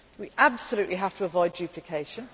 but in the future. We absolutely must